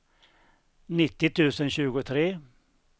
nittio tusen tjugotre